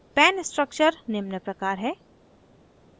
pan structure निम्न प्रकार है